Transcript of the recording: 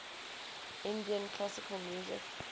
indian classical music